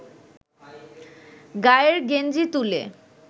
গায়ের গেঞ্জি তুলে